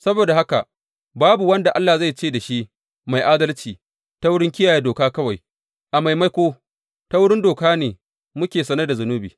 Saboda haka babu wanda Allah zai ce da shi mai adalci ta wurin kiyaye doka kawai; a maimako, ta wurin doka ne muke sane da zunubi.